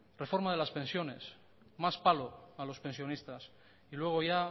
reforma de las pensiones más palo a los pensionistas y luego ya